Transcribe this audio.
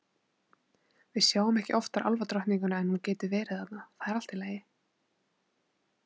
Við sjáum ekki oftar álfadrottninguna en hún getur verið þarna, það er allt í lagi.